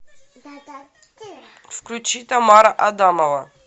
включи тамара адамова